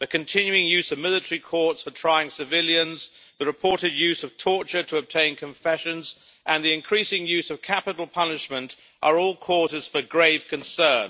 The continuing use of military courts for trying civilians, the reported use of torture to obtain confessions and the increasing use of capital punishment are all causes for grave concern.